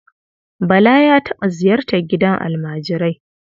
Bala ya taɓa ziyartar gidan almajirai.